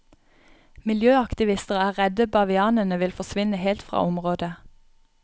Miljøaktivister er redde bavianene vil forsvinne helt fra området.